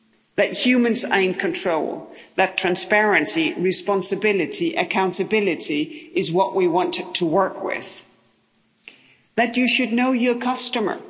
That humans are in control that transparency, responsibility, accountability, is what we want to work with that you should know your customer